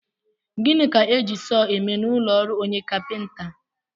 Gịnị ka e ji sọọ eme n'ụlọọrụ onye kapịnta?